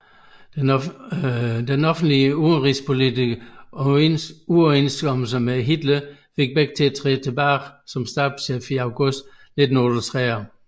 Offentlige udenrigspolitiske uoverensstemmelser med Hitler fik Beck til at træde tilbage som stabschef i august 1938